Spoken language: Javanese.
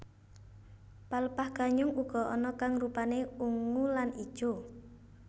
Pelepah ganyong uga ana kang rupané ungu lan ijo